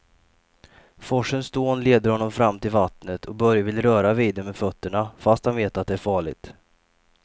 Forsens dån leder honom fram till vattnet och Börje vill röra vid det med fötterna, fast han vet att det är farligt.